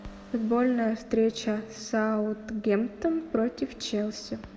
футбольная встреча саутгемптон против челси